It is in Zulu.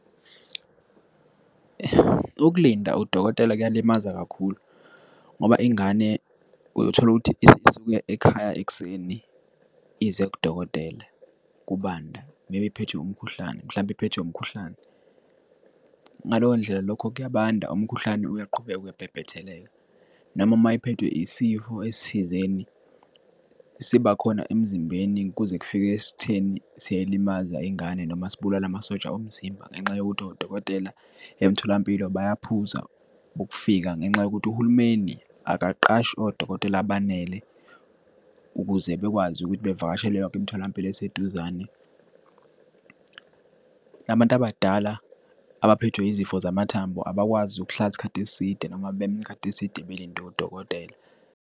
Ukulinda udokotela kuyalimaza kakhulu, ngoba ingane uyotholukuthi isuke ekhaya ekuseni, ize kudokotela kubanda, maybe iphethwe umkhuhlane, mhlawumbe iphethwe umkhuhlane. Ngaleyo ndlela lokho kuyabanda, umkhuhlane uyaqhubeka uyabhebhetheleka, noma uma iphethwe isifo esithizeni, sibakhona emzimbeni kuze kufike esitheni siyayilimaza ingane noma sibulala amasosha omzimba. Ngenxa yokuthi odokotela emtholampilo bayaphuza ukufika, ngenxa yokuthi uhulumeni akaqashi odokotela abanele ukuze bekwazi ukuthi bevakashele yonke imitholampilo eseduzane. Nabantu abadala abaphethwe yizifo zamathambo, abakwazi ukuhlala isikhathi eside noma beme isikhathi eside, belinde udokotela.